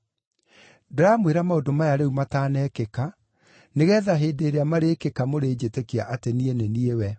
“Ndĩramwĩra maũndũ maya rĩu matanekĩka, nĩgeetha hĩndĩ ĩrĩa marĩĩkĩka mũrĩnjĩtĩkia atĩ niĩ nĩ niĩ we.